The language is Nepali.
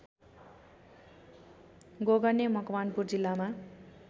गोगने मकवानपुर जिल्लामा